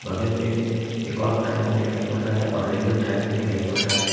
बगल पे एक और प्लेटफॉर्म दिखाई पड़ रहा है और रेलवे ट्रैक भी दिखाई पड़ रहा है।